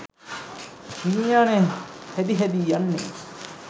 විඤ්ඤාණය හැදි හැදී යන්නේ.